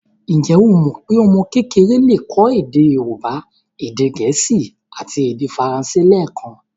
Ǹjẹ́ o mọ pé ọmọ kékeré le kọ́ èdè Yorùbá, èdè gẹ̀ẹ́sì àti èdè faransé lẹẹkan?